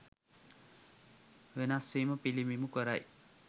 වෙනස්වීම පිළිඹිබු කරයි.